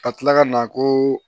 Ka tila ka na koo